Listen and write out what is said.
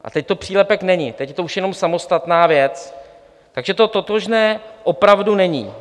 A teď to přílepek není, teď je to už jenom samostatná věc, takže to totožné opravdu není.